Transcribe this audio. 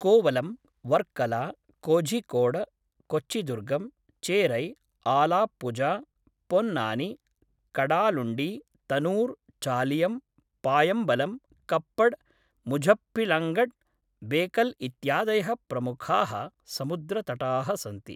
कोवलम्, वर्कला, कोझिकोड, कोच्चिदुर्गम्, चेरै, आलाप्पुझा, पोन्नानी, कडालुण्डी, तनुर्, चालियम्, पायम्बलम्, कप्पड्, मुझप्पिलङ्गड्, बेकल इत्यादयः प्रमुखाः समुद्रतटाः सन्ति।